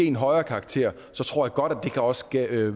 en højere karakter så tror jeg godt det også kan